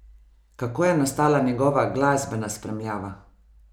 Kako je nastala njegova glasbena spremljava?